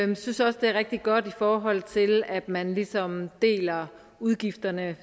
vi synes også det er rigtig godt i forhold til at man ligesom deler udgifterne